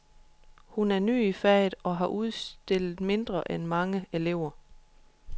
Hun er ny i faget og har udstillet mindre end mange elever.